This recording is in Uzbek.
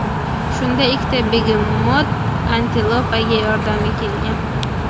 Shunda ikkita begemot antilopaga yordamga kelgan.